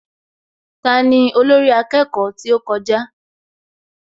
Tani olórí akẹ́kọ̀ọ́ tí ó kọjá?